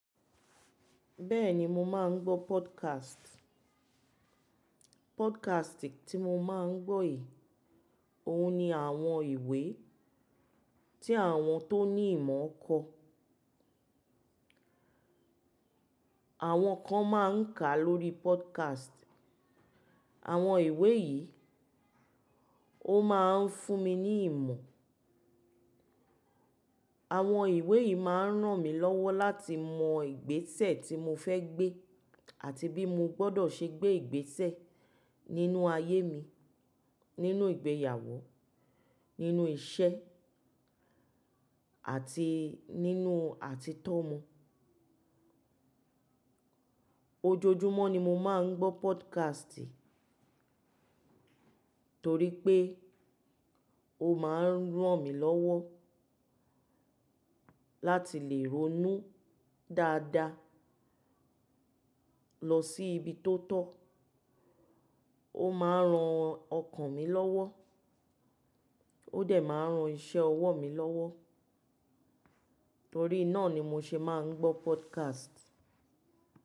Bẹ́ẹ̀ni mo máa ń gbọ́ podcast. Podcast tí mo máa ń gbọ́ yìí, òun ni àwọn ìwé tí àwọn tó ní ìmọ̀ kọ. Àwọn kan máa ń kà lórí podcast. Àwọn ìwé yìí ó máa ń fún mi ní ìmọ̀. Àwọn ìwé yìí máa ń ràn mí lọ́wọ́ láti mọ ìgbésẹ̀ tí mo fẹ́ gbé àti bí mo gbọdọ̀ ṣe gbé ìgbésẹ̀ nínú ayé mi, nínú ìgbéyàwó, nínú iṣẹ́ àti nínú àtíi to omo. Ojoojúmọ́ ni mo máa ń gbọ́ podcast torí pé ó máa ń ràn mí lọ́wọ́ láti lè ronú dáadáa lọ sí ibi tó tọ́, ó máa ń ran ọkàn mi lọ́wọ́, ó dẹ̀ máa ń ran iṣẹ́ ọwọ́ mi lọ́wọ́. Torí náà ni mo ṣe máa ń gbọ́ podcast.